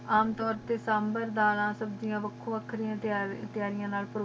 ਆਮ ਤੋਰ ਤੇ ਸੰਬਾਰ ਬਾਰਾ ਸਬਜੀਆਂ ਵਖੋ ਵਖਰੀਆਂ ਤੇਯਾਰੀਆਂ ਨਾਲ ਪਰੋਸਿਆਂ ਜਾਂਦਾ ਆਯ